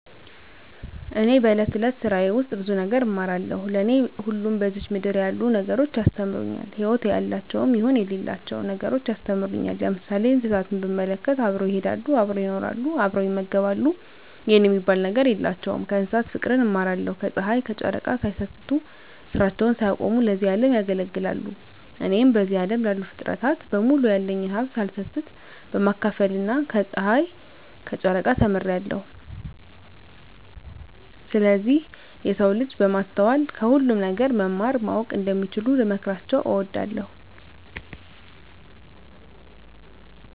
እኔ በእለት እለት ስራየ ውስጥ ብዙ ነገር እማራለሁ። ለኔ ሁሉም በዝች ምድር ያሉ ነገሮች ያስተምሩኛል ህይወት ያላቸውም ይሁን ህይወት የሌላቸው ነገሮች ያስተምሩኛል። ለምሳሌ እንስሳትን ብንመለከት አብረው ይሄዳሉ አብረው ይኖራሉ አብረው ይመገባሉ የኔ የሚባል ነገር የላቸውም ስለዚህ ከእንስሳት ፉቅርን እማራለሁ። ከጽሀይ ከጨረቃ ሳይሰስቱ ስራቸውን ሳያቆሙ ለዚህ አለም ያገለግላሉ። እኔም በዚህ አለም ላሉ ፉጥረታት በሙሉ ያለኝን ሀብት ሳልሰስት ለማካፈል ከጸሀይና ከጨረቃ ተምሬአለሁ። ስለዚህ የሰው ልጅ በማስተዋል ከሁሉም ነገር መማር ማወቅ እንደሚችሉ ልመክራቸው እወዳለሁ።